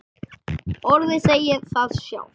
Orðið segir það sjálft.